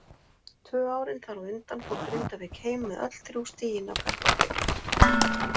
Tvö árin þar á undan fór Grindavík heim með öll þrjú stigin af Kaplakrika.